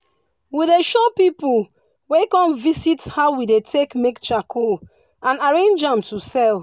we dey show pipu wey come visit how we dey take make charcoal and arrange am to sell.